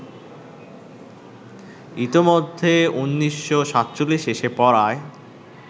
ইতোমধ্যে ১৯৪৭ এসে পড়ায়